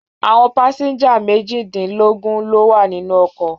Àwọn pásẹ́ńjà méjìdínlógún ló wà nínú ọkọ̀.